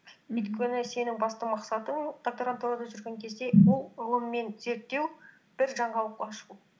өйткені сенің басты мақсатың докторантурада жүрген кезде ол ғылым мен зерттеу бір жаңалық ашу